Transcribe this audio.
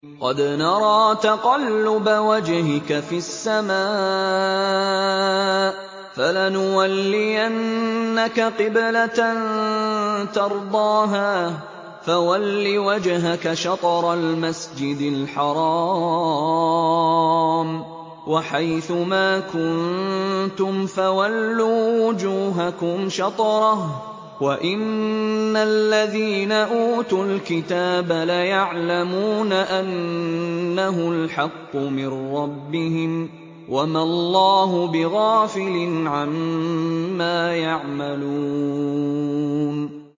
قَدْ نَرَىٰ تَقَلُّبَ وَجْهِكَ فِي السَّمَاءِ ۖ فَلَنُوَلِّيَنَّكَ قِبْلَةً تَرْضَاهَا ۚ فَوَلِّ وَجْهَكَ شَطْرَ الْمَسْجِدِ الْحَرَامِ ۚ وَحَيْثُ مَا كُنتُمْ فَوَلُّوا وُجُوهَكُمْ شَطْرَهُ ۗ وَإِنَّ الَّذِينَ أُوتُوا الْكِتَابَ لَيَعْلَمُونَ أَنَّهُ الْحَقُّ مِن رَّبِّهِمْ ۗ وَمَا اللَّهُ بِغَافِلٍ عَمَّا يَعْمَلُونَ